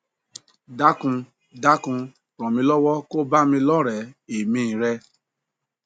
dákun dákun ràn mí lọwọ ko bá mi lọre èmí i rẹ